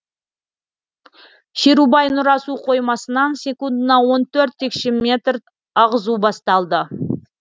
шерубай нұра су қоймасынан секундына он төрт текше метр ағызу басталды